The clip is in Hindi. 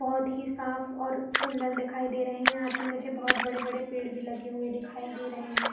बहोत ही साफ़ और सुन्दर दिखाई दे रहे है यहाँ पे मुझे बहोत बड़े - बड़े पेड़ भी लगे हुए दिखाई दे रहे हैं।